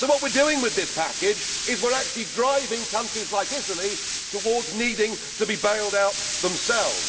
So what we are doing with this package is actually driving countries like Italy towards needing to be bailed out themselves.